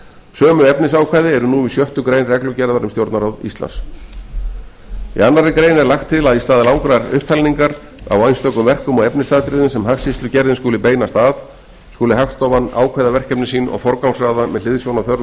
sömu efnisákvæði eru nú í sjöttu grein reglugerðar um stjórnarráð íslands í annarri grein er lagt til að í stað langrar upptalningar á einstökum verkum og efnisatriðum sem hagskýrslugerðin skuli beinast að skuli hagstofan ákveða verkefni sín og forgangsraða með hliðsjón af þörfum